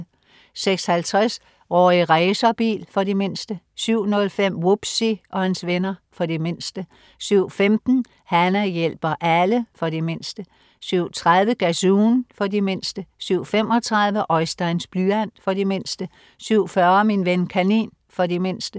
06.50 Rorri Racerbil. For de mindste 07.05 Wubbzy og hans venner. For de mindste 07.15 Hana hjælper alle. For de mindste 07.30 Gazoon. For de mindste 07.35 Oisteins blyant. For de mindste 07.40 Min ven kanin. For de mindste